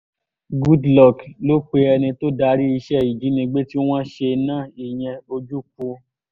goodluck ló pe ẹni tó darí iṣẹ́ ìjínigbé tí wọ́n ṣe náà ìyẹn ojukwu